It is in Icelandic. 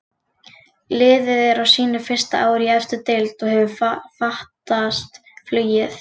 Liðið er á sínu fyrsta ári í efstu deild og hefur fatast flugið.